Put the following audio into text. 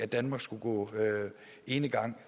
danmark skulle gå enegang